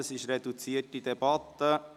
Wir führen eine reduzierte Debatte.